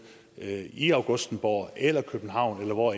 i augustenborg eller københavn eller hvor